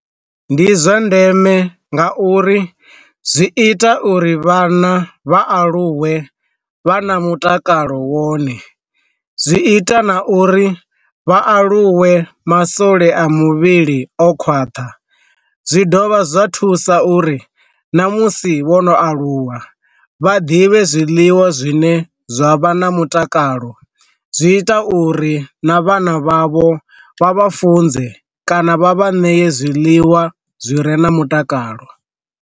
Ndi zwa ndeme nga uri zwi ita uri vhana vha aluwe vha na mutakalo wone, zwi ita na uri vha aluwe masole a muvhili o khwaṱha, zwi dovha zwa thusa uri na musi vho no aluwa vha ḓivhe zwiḽiwa zwine zwa vha na mutakalo, zwi ita uri na vhana vhavho vha vha funze kana vha vha ee zwiḽiwa zwi re na mutakalo.